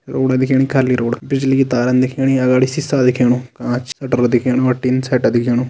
रोड दिख्येणी खाली रोड बिजली की तारन दिख्येणी अगाडी शिशा दिख्येणु काँच शटर दिख्येणु और टिन शटर दिख्येणु।